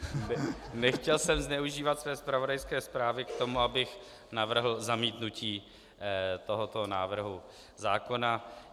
Nechtěl jsem zneužívat své zpravodajské zprávy k tomu, abych navrhl zamítnutí tohoto návrhu zákona.